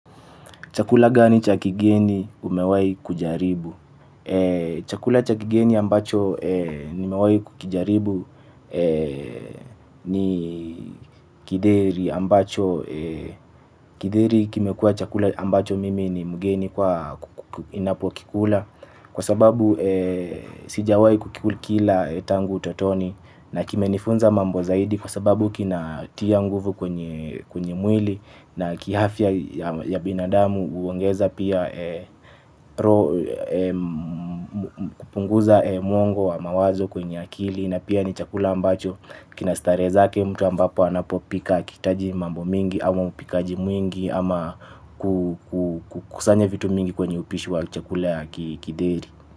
Chakula gani cha kigeni umewahi kujaribu? Chakula cha kigeni ambacho nimewahi kukijaribu ni githeri ambacho githeri kimekuwa chakula ambacho mimi ni mgeni kwa ninapokikula. Kwa sababu sijawahi kukila tangu utotoni na kimenifunza mambo zaidi kwa sababu kinatia nguvu kwenye mwili na kiafya ya binadamu huongeza pia kupunguza mwongo wa mawazo kwenye akili na pia ni chakula ambacho kina starehe zake mtu ambapo anapopika hakihitaji mambo mengi ama upikaji mwingi ama kusanye vitu mingi kwenye upishi wa chakula ya githeri.